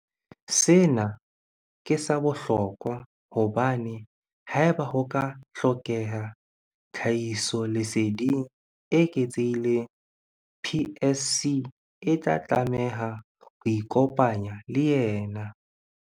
Sena ke sa bohlokwa hobane haeba ho ka ha hlokeha tlhahisoleseding e eketsehileng, PSC e tla tlameha ho ikopanya le yena.